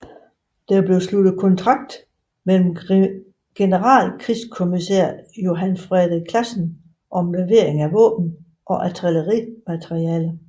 Der blev sluttet kontrakt med generalkrigskommissær Johan Frederik Classen om levering af våben og artillerimateriel